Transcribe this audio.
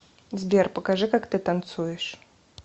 сбер покажи как ты танцуешь